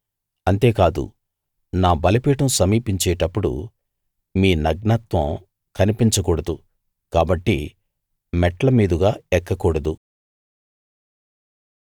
అంతేకాదు నా బలిపీఠం సమీపించేటప్పుడు మీ నగ్నత్వం కనిపించకూడదు కాబట్టి మెట్ల మీదుగా ఎక్కకూడదు